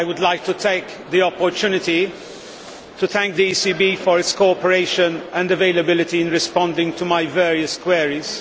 I would like to take the opportunity to thank the ECB for its cooperation and availability in responding to my various queries.